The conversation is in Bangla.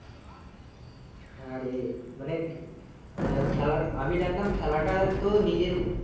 হ্যাঁ রে মানে আহ খেলার আমি জানতাম খেলাটা তো নিজের